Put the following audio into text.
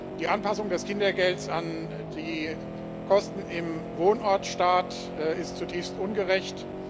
Die Anpassung des Kindergelds an die Kosten im Wohnortstaat ist zutiefst ungerecht.